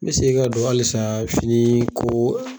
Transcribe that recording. N bɛ segi ka don halisa fini ko